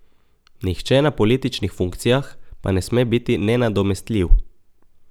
Nihče na političnih funkcijah pa ne sme biti nenadomestljiv.